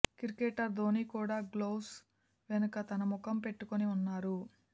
cricketer Dhoni కూడా gloves వెనుక తన ముఖం పెట్టుకుని ఉన్నారు